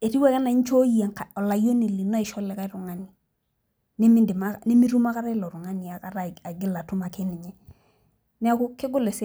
etiu ake anaa inchooyie olayioni li no asih likae tungani, nemitum akiata ilo tungani aigil ake ninye. nneeku kegol esiai.